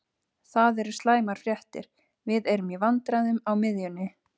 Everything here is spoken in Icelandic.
Það eru slæmar fréttir, við erum í vandræðum á miðjunni.